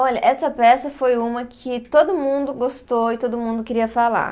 Olha, essa peça foi uma que todo mundo gostou e todo mundo queria falar.